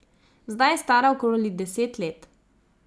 Zdaj je stara okoli deset let.